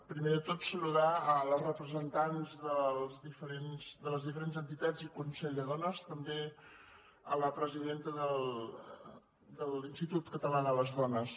primer de tot saludar les representants de les diferents entitats i consell de dones també la presidenta de l’institut català de les dones